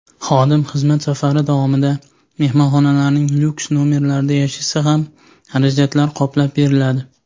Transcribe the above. Xodim xizmat safari davomida mehmonxonalarning lyuks-nomerlarida yashasa ham xarajatlar qoplab beriladi.